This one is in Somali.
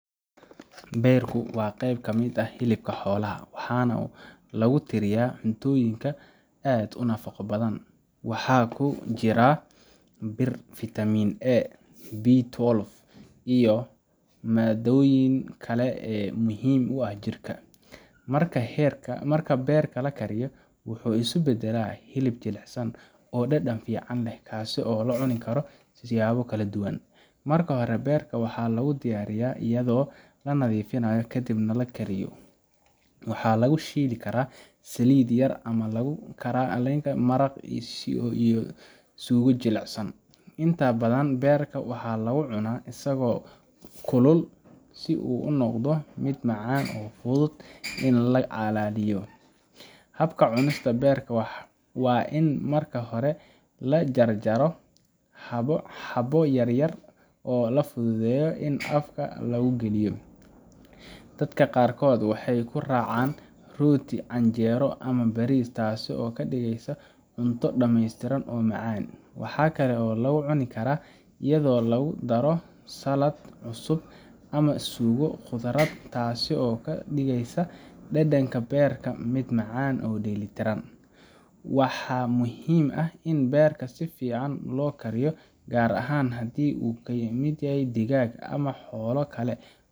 Beerku waa qayb ka mid ah hilibka xoolaha, waxaana lagu tiriyaa cuntooyin aad u nafaqo badan. Waxaa ku jira bir, vitaminA, B twelve, iyo maaddooyin kale oo muhiim u ah jirka. Marka beerka la kariyo, wuxuu isu beddelaa hilib jilicsan oo dhadhan fiican leh, kaas oo loo cuni karo siyaabo kala duwan. Marka hore, beerka waxaa lagu diyaariyaa iyadoo la nadiifiyo, kadibna la kariyo. Waxaa lagu shiili karaa saliid yar ama lagu kari karaa maraq suugo jilcsan. Inta badan, beerka waxaa lagu cunaa isagoo kulul si uu u noqdo mid macaan oo fudud in la calaliyo. Habka cunista beerka waa in marka hore la jarjaro xabbo yaryar oo la fududeeyo in afka lagu geliyo. Dadka qaarkood waxay ku raacaan rooti, canjeero, ama bariis, taas oo ka dhigaysa cunto dhameystiran oo macaan. Waxaa kale oo lagu cuni karaa iyadoo lagu daro saladh cusub ama suugo khudradeed, taasoo ka dhigaysa dhadhanka beerka mid macaan oo dheellitiran. Waxaa muhiim ah in beerka si fiican loo kariyo, gaar ahaan haddii uu ka yimid digaag ama xoolo kale,